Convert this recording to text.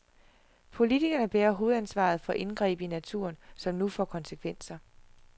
Politikerne bærer hovedansvaret for indgreb i naturen, som nu får konsekvenser.